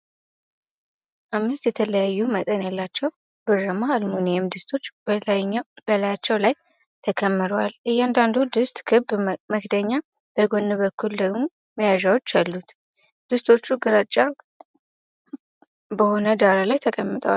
አምስት የተለያዩ መጠን ያላቸው ብርማ አልሙኒየም ድስቶች በላያቸው ላይ ተከምረዋል። እያንዳንዱ ድስት ክብ መክደኛ፣ በጎን በኩል ደግሞ መያዣዎች አሉት። ድስቶቹ ግራጫማ በሆነ ዳራ ላይ ተቀምጠዋል።